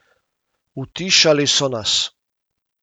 Utišali so nas.